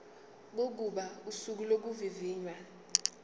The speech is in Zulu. kokuba usuku lokuvivinywa